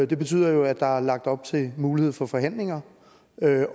det betyder jo at der er lagt op til mulighed for forhandlinger